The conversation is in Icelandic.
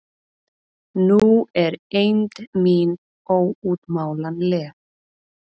Nú er eymd mín óútmálanleg.